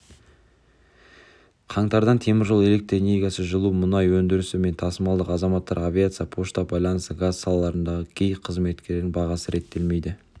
қаңтардан теміржол электр энергиясы жылу мұнай өндірісі мен тасымалы азаматтық авиация пошта байланысы газ салаларындағы кей қызметтердің бағасы реттелмейді